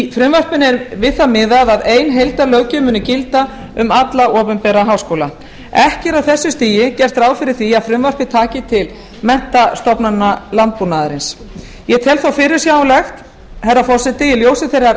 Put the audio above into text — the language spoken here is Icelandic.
í frumvarpinu er við það miðað að ein heildar löggjöf muni gilda um alla opinbera háskóla ekki er á þessu stigi gert ráð fyrir því að frumvarpið taki til menntastofnana landbúnaðarins ég tel þó fyrirsjáanlegt herra forseti í ljósi þeirrar